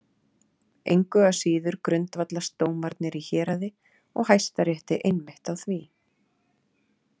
Engu að síður grundvallast dómarnir í héraði og Hæstarétti einmitt á því.